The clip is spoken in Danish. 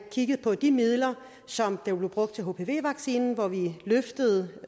kigge på de midler som blev brugt til hpv vaccinen hvor vi løftede